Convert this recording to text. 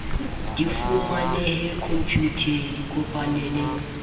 di fumanehe khomputeng ikopanye le